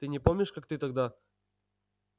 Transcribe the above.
ты не помнишь как ты тогда